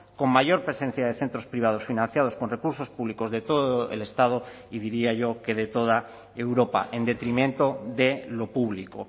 con mayor presencia de centros privados financiados con recursos públicos de todo el estado y diría yo que de toda europa en detrimento de lo público